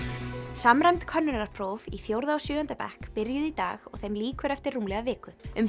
samræmd könnunarpróf í fjórða og sjöunda bekk byrjuðu í dag og þeim lýkur eftir rúmlega viku um